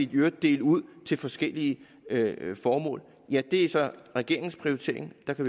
kan dele ud til forskellige formål er så regeringens prioritering og det